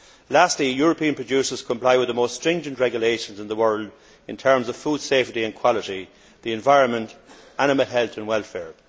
Lastly, European producers comply with the most stringent regulations in the world in terms of food safety and quality, the environment, and animal health and welfare.